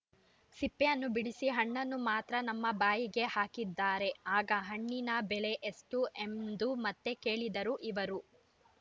ಸಿಪ್ಪೆಯನ್ನು ಬಿಡಿಸಿ ಹಣ್ಣನ್ನು ಮಾತ್ರ ನಮ್ಮ ಬಾಯಿಗೆ ಹಾಕಿದರೆ ಆಗ ಹಣ್ಣಿನ ಬೆಲೆ ಎಷ್ಟು ಎಂದು ಮತ್ತೆ ಕೇಳಿದರು ಇವರು